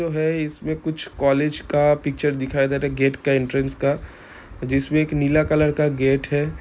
जो हैं इसमे कुछ कॉलेज का पिक्चर दिखाई दे रहा है गेट का एन्टेरेन्स का जिसमे एक नीला कलर का गेट है ।